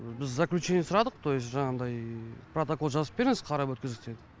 біз заключение сұрадық то есть жаңағыдай протокол жазып беріңіз қарап өткіздік деген